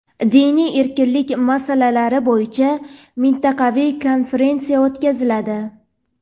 Diniy erkinlik masalalari bo‘yicha mintaqaviy konferensiya o‘tkaziladi.